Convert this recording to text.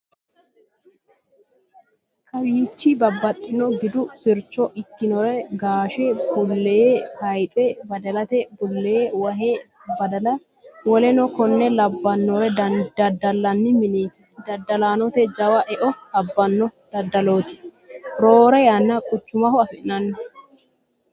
kowichi babbaxinno gidu sircho ikkinore, gaashete bullee, hayixe, badalate bullee, wahe, badala woleno konne labbannore daddalanni mineeti. dadalaanote jawa eo abbanno daddalooti. roore yanna quchumaho anfanni.